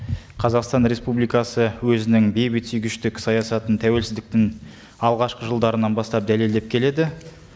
қазақстан республикасы өзінің бейбітсүйгіштік саясатын тәуелсіздіктің алғашқы жылдарынан бастап дәлелдеп келеді